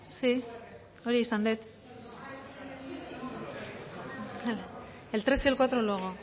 el tres y el cuatro luego